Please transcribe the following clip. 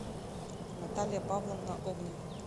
наталья павловна огнева